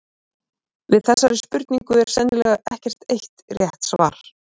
Við þessari spurningu er sennilega ekkert eitt rétt svar.